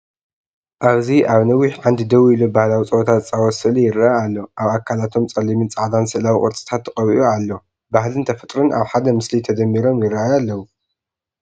ኣብዚ ኣብ ነዊሕ ዓንዲ ደው ኢሉ ባህላዊ ጸወታ ዝጻወት ስእሊ ይረአ ኣሎ። ኣብ ኣካላቶም ጸሊምን ጻዕዳን ስእላዊ ቅርጽታት ተቐቢኡ ኣሎ። ባህልን ተፈጥሮን ኣብ ሓደ ምስሊ ተደሚሮም ይራኣዩ ኣለው።